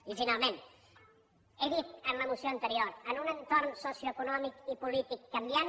i finalment he dit en la moció anterior en un entorn socioeconòmic i polític canviant